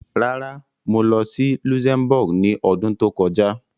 Rárá, mo lọ sí Luxembourg ní ọdún tó kọjá.